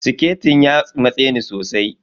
Siketin ya matse ni sosai.